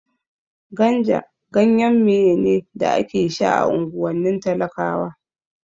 Ganja ganyen maye ne da ake sha a unguwannin talakawa